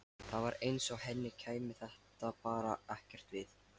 Það var eins og henni kæmi þetta bara ekkert við.